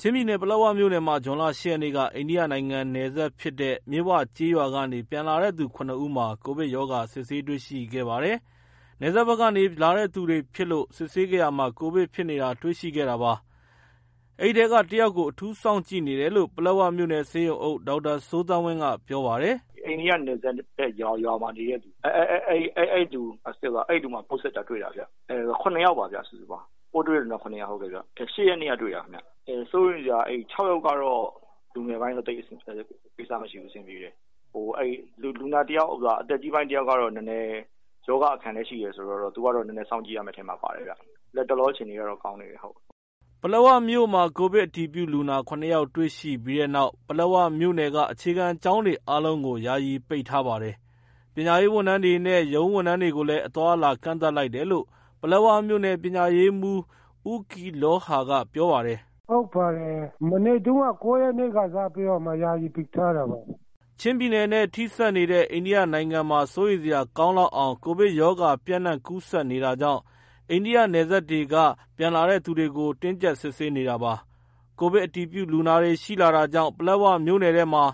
ချင်းပြည်နယ် ပလက်ဝမြို့နယ်မှာ ဇွန်လ ၈ ရက်နေ့က အိန္ဒိယနိုင်ငံနဲ့ နယ်စပ်ဖြစ်တဲ့ မြစ်ဝကျေးရွာကနေပြန်လာတဲ့သူ ၇ ဦးမှာ ကိုဗစ်ရောဂါစစ်ဆေးတွေ့ရှိခဲ့ပါတယ်။ နယ်စပ်ဘက်ကနေ လာသူတွေဖြစ်လို့ ဆေးစစ်ခဲ့ရာမှာ ကိုဗစ်ဖြစ်နေတာ တွေ့ရှိခဲ့တာပါ။ အဲဒီထဲကတယောက်ကို အထူးစောင့်ကြည့်နေတယ်လို့ ပလက်ဝမြို့နယ်ဆေးရုံအုပ် ဒေါက်တာစိုးသန်းဝင်းကပြောပါတယ်။ “အိန္ဒိယနယ်စပ်ဘက် ရွာမှာနေတဲ့သူ အဲလူတွေမှာ ပိုးစစ်တာတွေ့တာဗျ။ ပိုးတွေ့လူနာက ၇ယောက်ပါ ၈ ရက်နေ့ကတွေ့တာပေါ့။ စိုးရိမ်စရာကတော့ ၆ ယောက်ကတော့ လူငယ်ပိုင်းပါပဲ သိပ်စိုးရိမ်စရာမလို အသက်ကြီးပိုင်းတယောက်ကတော့ ရောဂါအခံလည်းရှိတယ်ဆိုတော့ သူကတော့ နည်းနည်း စောင့်ကြည့်ရမယ့် အထဲမှာ ပါတယ်ဗျာ။ လတ်တလော အခြေအနေကတော့ ကောင်းပါတယ်။” ပလက်ဝမြို့မှာ ကိုဗစ်အတည်ပြုလူနာ ၇ ယောက်တွေ့ရှိပြီးတဲ့နောက် ပလက်ဝမြို့နယ်က အခြေခံကျောင်းတွေအားလုံးကို ယာယီပိတ်ထားပါတယ်။ ပညာရေးဝန်ထမ်းတွေနဲ့ ရုံးဝန်ထမ်းတွေကိုလည်း အသွားအလာ ကန့်သတ်လိုက်တယ်လို့ ပလက်ဝမြို့နယ် ပညာရေးမှူး ဦး ကီးလောဟာ ကပြောပါတယ်။ “ဟုတ်ပါတယ် မနေ့က ၉ ရက်နေ့က စပြီးတော့ ကျောင်းတွေကို ယာယီပိတ်လိုက်တာပါ။ ” ချင်းပြည်နယ်နဲ့ ထိစပ်နေတဲ့ အိန္ဒိယနိုင်ငံမှာ စိုးရိမ်စရာ ကောင်းလောက်အောင် ကိုဗစ်ရောဂါပျံ့နှံ့ကူးစက်နေတာကြောင့် အိန္ဒိယနယ်စပ်တွေက ပြန်လာသူတွေကို တင်းကြပ်စစ်ဆေးနေတာပါ။ ကိုဗစ် အတည်ပြုလူနာတွေ ရှိလာတာကြောင့် ပလက်ဝမြို့နယ်ထဲမှာ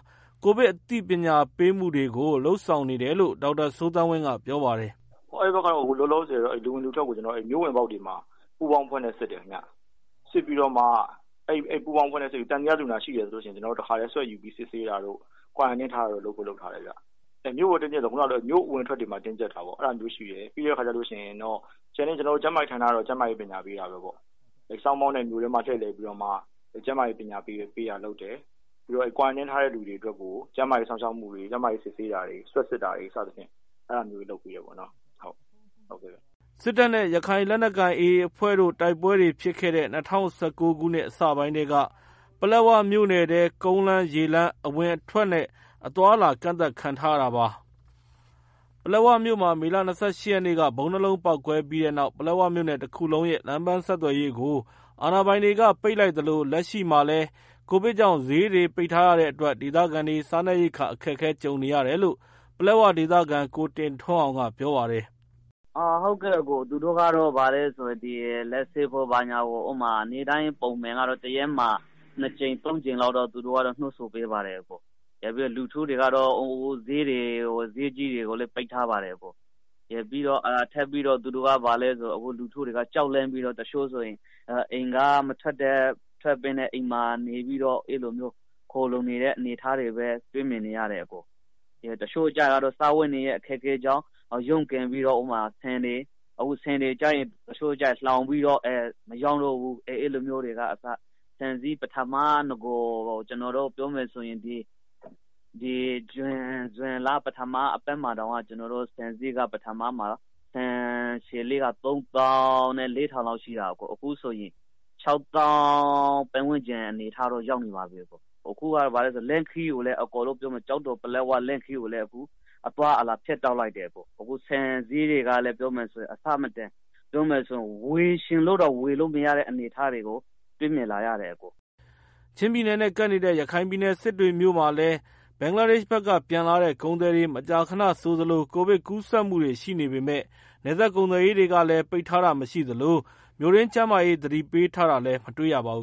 ကိုဗစ်အသိပညာပေးမှုတွေကို လုပ်ဆောင်နေတယ်လို့ ဒေါက်တာ စိုးသန်းဝင်းကပြောပါတယ်။ “အဲဒီဘက်က လူဝင်လူထွက်တွေကိုတော့ ကျနော်တို့ မြို့ဝင်ပေါက်တွေမှာ ပူးပေါင်းအဖွဲ့နဲ့ စစ်တယ်ခင်ဗျာ။ စစ်ပြီးတော့မှ သံသယလူနာတွေ့တယ်ဆိုရင် ကျနော်တို့တခါတည်း နှာခေါင်းတို့ပတ်ယူပြီး စစ်တယ်ခင်ဗျာ။ quarantine ထားဖို့ လုပ်ထားတယ်။ မြို့အဝင်အထွက်တွေမှာ တင်းကြပ်တာရှိတယ်။ ကျန်တဲ့ ကျန်းမာရေး ဌာနာကတော့ ကျန်းမာရေး ပညာပေးတာပေါ့ song box တွေနဲ့ မြို့ထဲမှာ လှည့်လည်ပြီးတော့မှ ကျန်းမာရေး ပညာပေးတာလုပ်တယ်။ ပြီးတော့ quarantine ထားတဲ့ လူတွေအတွက်ကို ကျန်းမာရေး စောင့်ရှောက်တာတွေ ကျန်းမာရေး စစ်ဆေးတာတွေလုပ် စသဖြင့် အဲတာတွေ လုပ်ပေးနေပါတယ်။ ” စစ်တပ်နဲ့ ရခိုင်လက်နက်ကိုင် AA အဖွဲ့တို့ တိုက်ပွဲတွေ ဖြစ်ခဲ့တဲ့ ၂၀၁၉ ခုနှစ်အစပိုင်းထဲက ပလက်ဝမြို့နယ်ထဲ ကုန်းလမ်း၊ ရေလမ်း အဝင်အထွက်နဲ့ အသွားအလာ ကန့်သတ်ခံထားရတာပါ။ ပလက်ဝမြို့မှာ မေလ ၂၈ ရက်နေ့က ဗုံးနှစ်လုံးပေါက်ကွဲခဲ့ပြီးနောက် ပလက်ဝမြို့နယ်တခုလုံးရဲ့ လမ်းပန်းဆက်သွယ်ရေးတွေကို အာဏာပိုင်တွေက ပိတ်လိုက်သလို လက်ရှိမှာလည်း ကိုဗစ်ကြောင့် ဈေးတွေ ပိတ်ထားရတဲ့အတွက် ဒေသခံတွေ စားနပ်ရိက္ခာ အခက်ကြုံနေရတယ်လို့ ပလက်ဝဒေသခံ ကိုတင်ထွန်းအောင်ကပြောပါတယ်။ “သူတို့ကတော့ လက်ဆေးဖို့ ဘာညာ နေ့တိုင်းပုံမှန်ကတော့ တရက်မှာ နှစ်ကြိမ် သုံးကြိမ်လောက်တော့ သူတို့ကတော့ နှိုးဆော်ပေးပါတယ်။ နောက်ပြီးတော့ ဈေးကြီးတွေကိုလည်း ပိတ်ထားတယ်။ နောက်ထပ်ပြီးတော့ သူတို့က ဘာလဲဆိုတော့ လူထုက ကြောက်ပြီး အိမ်ထဲကမထွက်ဘဲ နေကြတာကိုလည်း တွေ့နေရပါတယ်။ တချို့ကျတော့လည်း စားဝတ်နေရေး အခက်အခဲကြောင့် ရုန်းကန်ပြီးတော့ အခုဆိုရင် ဆန်တွေကို တချို့လှောင်ထားပြီးတော့ မရောင်းတော့ဘူး။ ဆန်ဈေးကလည်း ကျနော်တို့ ပထမပြောမယ်ဆိုရင် ဇွန်လ ပထမအပတ်တောင်မှ ဆန်အညံ့ဆုံးက ၃၄,၀၀၀ တောင်ရှိတယ်။ အခုဆိုရင်တော့ ၆၀,၀၀၀ ပတ်ဝန်းကျင်လောက် အနေအထားကို ရောက်နေပါပြီ။ အခုကဘာလဲဆိုတော့ ကျောက်တော် ပလက်ဝ လမ်းခရီးကိုလည်း အသွားအလာဖြတ်တောက်လိုက်တယ်။ ဆန်ဈေးတွေကလည်း အဆမတန် ပြောမယ်ဆိုရင် ဝယ်ချင်လို့တောင် ဝယ်လို့မရတဲ့ အနေအထားကို တွေ့မြင်လာရတယ်။ ” ချင်းပြည်နယ်နဲ့ ကပ်နေတဲ့ ရခိုင်ပြည်နယ် စစ်တွေမြို့မှာလည်း ဘင်္ဂလားဒေရှ့်ဘက်က ပြန်လာတဲ့ ကုန်သည်တွေ မကြာခဏဆိုသလို ကူးဗစ်ကူးစက်မှုတွေ ရှိနေပေမယ့် နယ်စပ်ကုန်သွယ်ရေးတွေလည်း ပိတ်ထားတာမရှိသလို မြို့တွင်း ကျန်းမာရေးသတိပေးတာတွေလည်း မတွေ့ရပါဘူ